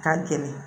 Ka gɛlɛn